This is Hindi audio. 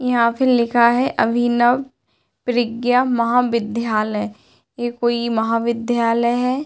यहाँ पे लिखा है अभिनव प्रज्ञा महाविधालय । ये कोई महाविद्यालय है।